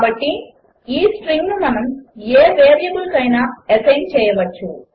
కాబట్టి ఈ స్ట్రింగ్ను మనము ఏ వేరియబుల్కైనా అసైన్ చేయవచ్చు